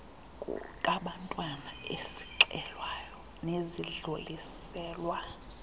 kabantwana ezixelwayo nezidluliselwa